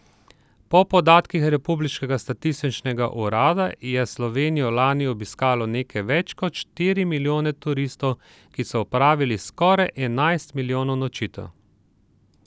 Po podatkih republiškega statističnega urada je Slovenijo lani obiskalo nekaj več kot štiri milijone turistov, ki so opravili skoraj enajst milijonov nočitev.